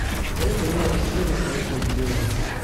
посоветуй мне все настоящие девушки